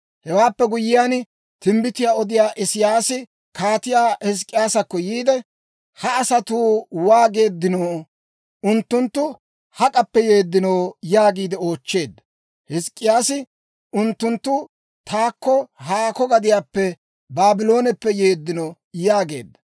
Hewaappe guyyiyaan, timbbitiyaa odiyaa Isiyaasi Kaatiyaa Hizk'k'iyaasakko yiide, «Ha asatuu waageeddinoo? Unttunttu hak'appe yeeddino?» yaagi oochcheedda. Hizk'k'iyaasi, «Unttunttu taakko haakko gadiyaappe, Baablooneppe yeeddino» yaageedda.